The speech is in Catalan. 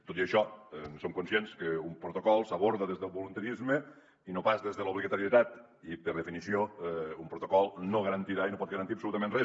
tot i això som conscients que un protocol s’aborda des del voluntarisme i no pas des de l’obligatorietat i per definició un protocol no garantirà i no pot garantir absolutament res